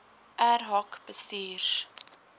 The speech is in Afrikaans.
ad hoc bestuurs